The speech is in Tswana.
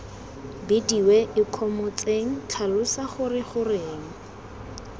bidiwe ikgomotseng tlhalosa gore goreng